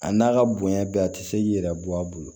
A n'a ka bonya bɛɛ a tɛ se k'i yɛrɛ bɔ a bolo